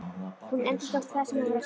Hún endurtók það sem hún var að segja.